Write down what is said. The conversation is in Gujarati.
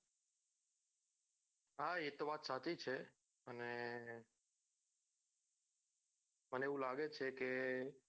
હા એ તો વાત સાચી છે અને મને એવું લાગે છે કે